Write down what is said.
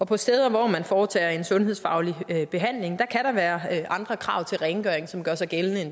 på steder hvor man foretager en sundhedsfaglig behandling kan der være andre krav til rengøring som gør sig gældende